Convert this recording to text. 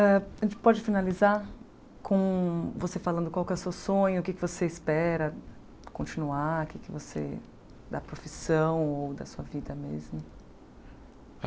A gente pode finalizar com você falando qual que é o seu sonho, o que é que você espera continuar, o que é que você... da profissão ou da sua vida mesmo?